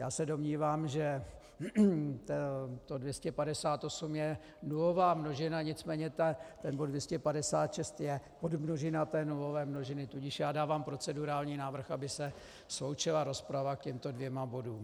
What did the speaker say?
Já se domnívám, že to 258 je nulová množina, nicméně ten bod 256 je podmnožina té nulové množiny, tudíž já dávám procedurální návrh, aby se sloučila rozprava k těmto dvěma bodům.